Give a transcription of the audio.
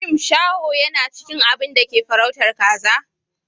Shim shaho yana cikin abin da ke farautar kaza